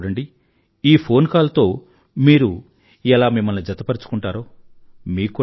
మీరే చూడండి ఈ ఫోన్ కాల్ తో మీరు ఎలా మిమ్మల్ని జతపరుచుకుంటారో